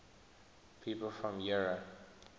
people from eure